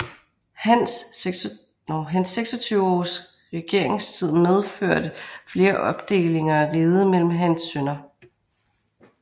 Hans 26 års regeringstid medførte flere opdelinger af riget mellem hans sønner